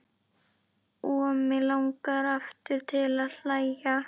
Og mig langar aftur til að hlæja.